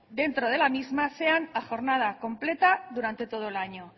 dentro de la misma sean a jornada completa durante todo el año